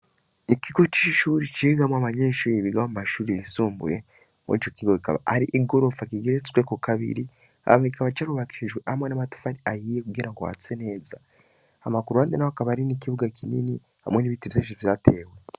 ikigo c'ishure cigamwo abanyeshure biga mu mashure yisumbuye. Mw'ico kigo hakaba hari igorofa kigeretse kabiri hama kikaba carubakishijwe n'amtafari ahiye kugira ngo hase neza. hama ku ruhande hakaba hari n'ikibuga kinini hamwe n'ibiti vyinshi vyatewe.